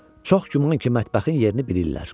Çox güman ki, mətbəxin yerini bilirlər.